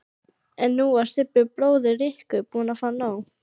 En nú var Sibbi bróðir Rikku búinn að fá nóg.